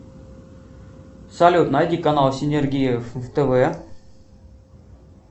салют найди канал синергия в тв